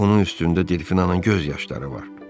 Onun üstündə Delfinanın göz yaşları var.